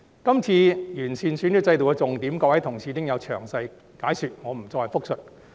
今次完善選舉制度的重點，各位同事已經有詳細解說，我不再複述。